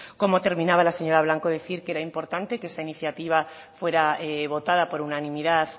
como terminaba la señora blanco decir que era importante que esa iniciativa fuera votada por unanimidad